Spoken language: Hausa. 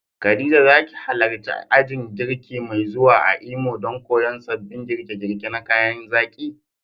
Khadija, za ki halarci ajin girki mai zuwa a Imo don koyon sabbin girke-girke na kayan zaki?